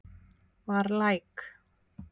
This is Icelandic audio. Var læk